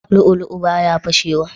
Lu'u lu'u baya fashe wa